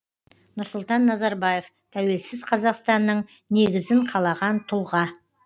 нұрсұлтан назарбаев тәуелсіз қазақстанның негізін қалаған тұлға